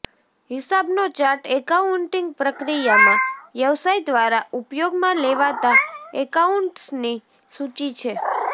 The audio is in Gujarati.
હિસાબનો ચાર્ટ એકાઉન્ટિંગ પ્રક્રિયામાં વ્યવસાય દ્વારા ઉપયોગમાં લેવાતા એકાઉન્ટ્સની સૂચિ છે